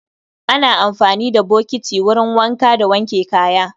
Ana amfani da bokiti wurin wanka da wanke kaya.